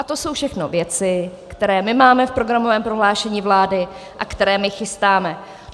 A to jsou všechno věci, které my máme v programovém prohlášení vlády a které my chystáme.